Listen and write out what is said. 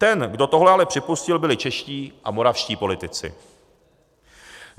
Ten, kdo tohle ale připustil, byli čeští a moravští politici.